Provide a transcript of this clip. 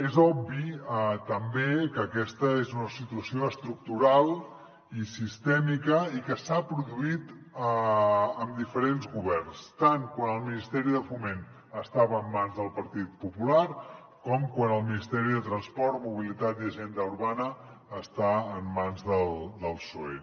és obvi també que aquesta és una situació estructural i sistèmica i que s’ha produït amb diferents governs tant quan el ministeri de foment estava en mans del partit popular com quan el ministeri de transports mobilitat i agenda urbana està en mans del psoe